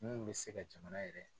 Mun bɛ se ka jamana yɛrɛ